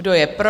Kdo je pro?